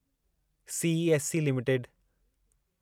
CESC limited